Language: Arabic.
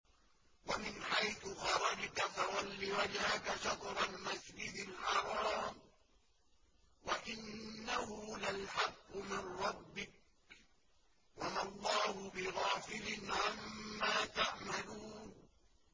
وَمِنْ حَيْثُ خَرَجْتَ فَوَلِّ وَجْهَكَ شَطْرَ الْمَسْجِدِ الْحَرَامِ ۖ وَإِنَّهُ لَلْحَقُّ مِن رَّبِّكَ ۗ وَمَا اللَّهُ بِغَافِلٍ عَمَّا تَعْمَلُونَ